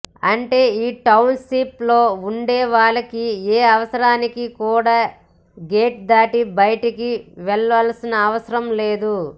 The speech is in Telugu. అంటే ఈ టౌన్ షిప్ లో వుండేవాళ్లకి ఏ అవుసరానికి కుడా గేట్ దాటి బయటికి వెళ్ళనవుసరం లేదు